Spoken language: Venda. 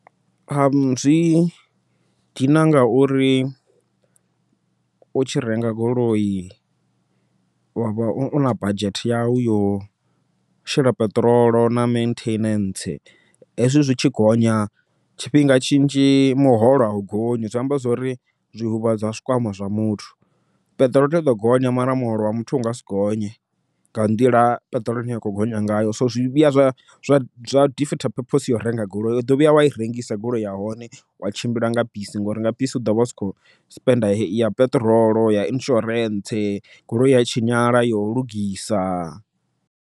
Zwi dina ngauri u tshi renga goloi wa vha u na badzhete yau yo shela peṱirolo, na maintenance hezwi zwi tshi gonya tshifhinga tshinzhi muholo au gonya. Zwi amba zwori zwi huvhadza zwikwama zwa muthu, peṱirolo iḓo gonya mara muholo wa muthu u nga si gonye, nga nḓila ine peṱirolo ya kho gonya ngayo. So zwi vhuya zwa defeat purpose yau renga goloi uḓo vhuya wai rengisa goloi yahone, wa tshimbila nga bisi, ngori nga bisi u ḓovha usa khou spend ya peṱirolo, ya insurance goloi ya tshinyala yo lugisa.